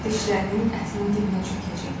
Dişlərinin ətinin dibinə çökəcək.